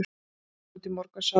Við gengum út í morgunsárið.